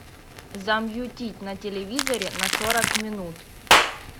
замьютить на телевизоре на сорок минут